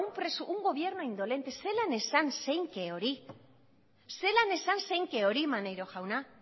un gobierno indolente zelan esan zeinke hori zelan esan zeinke hori maneiro jauna